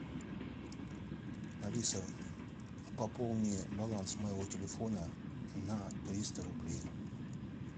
алиса пополни баланс моего телефона на триста рублей